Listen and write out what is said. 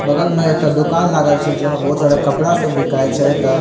बगल में एकटा दुकान लागल छे जेमे बहुत सारा कपड़ा सब बिकाये छे।